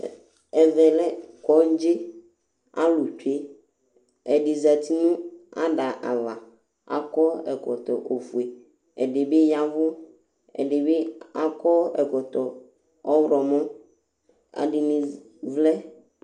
Ɛvɛ lɛ kɔdzi alu tsué ɛdi zɛti nu adava akɔ ɛkɔtɔ ofué ɛdi bi yavu ɛdi bi akɔ ɛkɔtɔ ɔhlɔmɔ ɛdini vlɛ